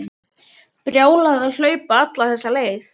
Brjálæði að hlaupa alla þessa leið.